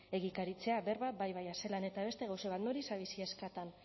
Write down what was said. egikaritzea berba bai baina zelan eta beste gauza bat nori zabiltzie eskatzen